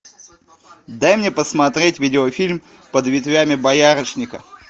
дай мне посмотреть видеофильм под ветвями боярышника